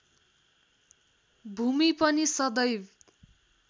भूमि पनि सदैव